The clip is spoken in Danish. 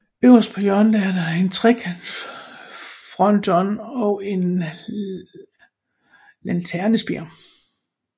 Øverst på hjørnet er der en trekantsfronton og en lanternespir